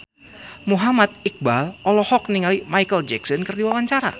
Muhammad Iqbal olohok ningali Micheal Jackson keur diwawancara